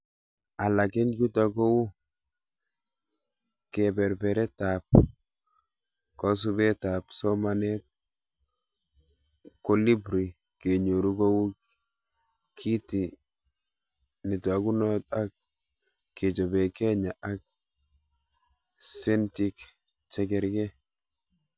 Alak eng chuto kou keberbertaab kosubetab somanet Kolibri, kenyoru kou kiti netokunot ak kechobe Kenya ak setink chekerkeri